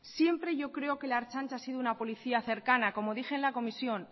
siempre yo creo que la ertzaintza ha sido una policía cercana como dije en la comisión